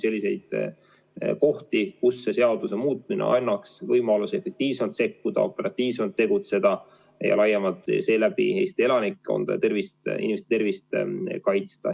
Selle seaduse muutmine annaks võimaluse efektiivsemalt sekkuda, operatiivsemalt tegutseda ja seeläbi laiemalt Eesti elanikkonda ja inimeste tervist kaitsta.